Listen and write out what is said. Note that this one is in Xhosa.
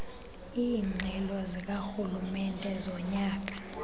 iingxelo zikarhulumente zonyaka